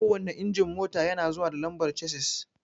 Kowanne injin mota yana zuwa da lambar chasis